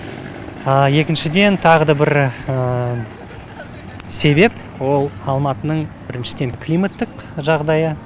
екіншіден тағы да бір себеп ол алматының біріншіден климаттық жағдайы